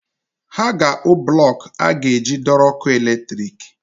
Ha ga-akpụ blọk e a ga-eji dọrọ ọkụ latrik.